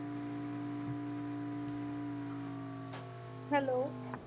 Hello